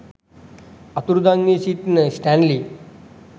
අතුරුදන් වී සිටින ස්ටැන්ලි